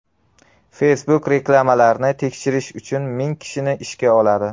Facebook reklamalarni tekshirish uchun ming kishini ishga oladi.